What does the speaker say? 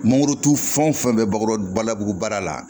Mangorotu fɛn o fɛn bɛ bakuru balabu baara la